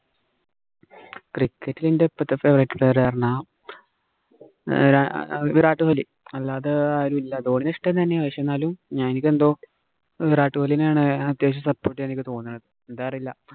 Cricket ഇല് എന്‍റെ ഇപ്പോഴത്തെ favourite player എന്ന് പറഞ്ഞാ വിരാ വിരാട് കോഹിലി അല്ലാത്തെ ആരുമില്ല. ധോണീനെ ഇഷ്ടം തന്നെയാ. പക്ഷേ, എന്നാലും എനിക്കെന്തോ വിരാട് കോഹിലിനെ ആണ് അത്യാവശ്യം support ചെയ്യാന്‍ എനിക്ക് തോന്നണത്. എന്താന്ന് അറിയില്ല.